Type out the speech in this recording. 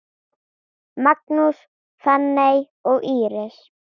Magnús, Fanney og Íris.